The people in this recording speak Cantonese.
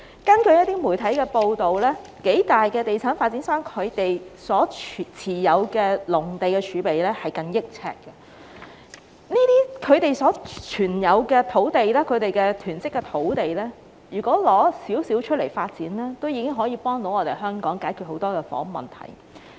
根據一些媒體報道，數大地產發展商所持有的農地儲備近億平方呎，如從他們所持有、所囤積的土地中拿出一些以供發展，已可協助香港解決很多房屋問題。